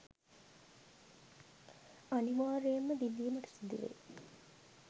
අනිවාර්යයෙන්ම විඳීමට සිදුවේ.